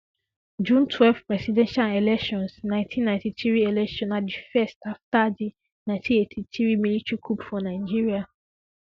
june twelve presidential elections 1993 election na di first afta di 1983 military coup for nigeria